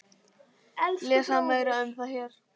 Lesa meira um það hér.